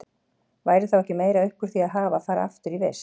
Væri þá ekki meira upp úr því að hafa að fara aftur í vist?